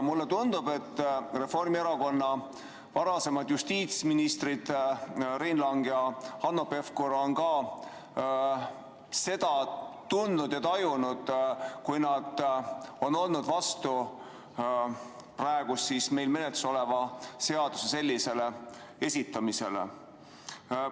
Mulle tundub, et Reformierakonna varasemad justiitsministrid Rein Lang ja Hanno Pevkur tajusid seda, kui nad olid vastu praegu meil menetluses oleva seaduseelnõu sellisel kujul esitamisele.